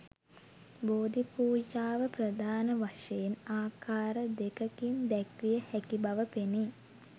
බෝධි පූජාව ප්‍රධාන වශයෙන් ආකාර දෙකකින් දැක්විය හැකි බව පෙනේ.